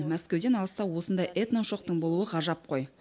мәскеуден алыста осындай этно ошақтың болуы ғажап қой